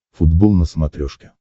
футбол на смотрешке